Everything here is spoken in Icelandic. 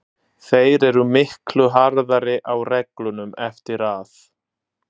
Þeir eru miklu harðari á reglunum eftir að